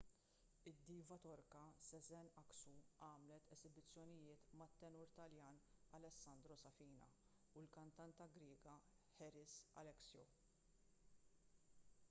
id-diva torka sezen aksu għamlet esibizzjonijiet mat-tenur taljan alessandro safina u l-kantanta griega haris alexiou